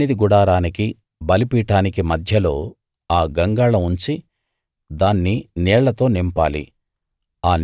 సన్నిధి గుడారానికి బలిపీఠానికి మధ్యలో ఆ గంగాళం ఉంచి దాన్ని నీళ్లతో నింపాలి